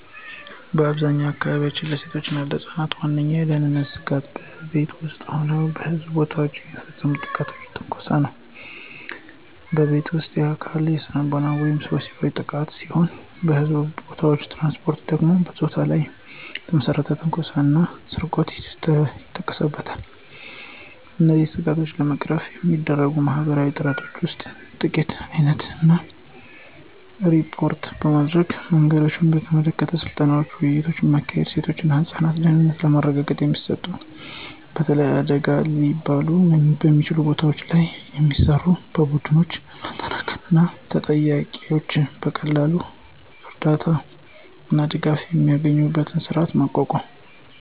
በአብዛኛዎቹ አካባቢዎች፣ ለሴቶች እና ለህፃናት ዋነኛው የደህንነት ስጋት በቤት ውስጥ እና በሕዝብ ቦታዎች የሚፈጸም ጥቃትና ትንኮሳ ነው። በቤት ውስጥ: የአካል፣ ስነልቦናዊ ወይም ወሲባዊ ጥቃት ሲሆን በሕዝብ ቦታዎች/ትራንስፖርት ደግሞ በፆታ ላይ የተመሰረተ ትንኮሳ እና ስርቆት ይጠቀሱበታል። እነዚህን ስጋቶች ለመቅረፍ የሚረዱ ማህበረሰባዊ ጥረቶች ውስጥ የጥቃት ዓይነቶችን እና ሪፖርት ማድረጊያ መንገዶችን በተመለከተ ስልጠናዎችንና ውይይቶችን ማካሄድ፤ የሴቶች እና ህፃናት ደህንነትን ለማረጋገጥ የሚሰሩ፣ በተለይ አደገኛ ሊባሉ በሚችሉ ቦታዎች ላይ የሚሰሩ፣ ቡድኖችን ማጠናከር እና ተጠቂዎች በቀላሉ እርዳታ እና ድጋፍ የሚያገኙበትን ስርዓት ማቋቋም።